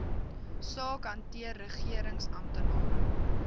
saak hanteer regeringsamptenare